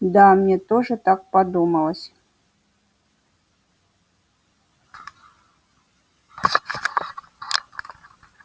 да мне тоже так подумалось